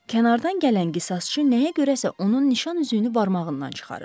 Kənardan gələn qisasçı nəyə görə isə onun nişan üzüyünü barmağından çıxarır.